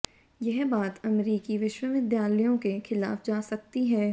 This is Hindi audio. यह बात अमेरिकी विश्वविद्यालयों के खिलाफ जा सकती है